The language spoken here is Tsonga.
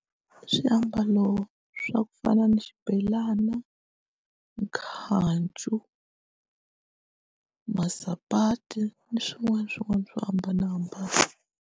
Swiambalo swa ku fana ni xibelana, khancu, masapati ni swin'wana na swin'wana swo hambanahambana.